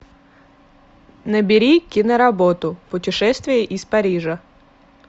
набери киноработу путешествие из парижа